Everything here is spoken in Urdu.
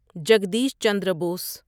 جگدیش چندرا بوس